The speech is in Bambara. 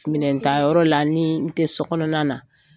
Minɛntanyɔrɔ la ni n tɛ so kɔnɔna na,